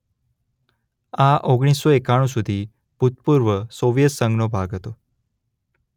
આ ઓગણીસ સો એકાણુ સુધી ભૂતપૂર્વ સોવિયત સંઘનો ભાગ હતો.